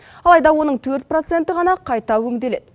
алайда оның төрт проценті ғана қайта өңделеді